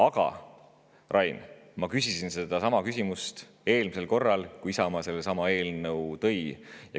Aga, Rain, ma küsisin sedasama küsimust eelmisel korral, kui Isamaa eelnõu tegi.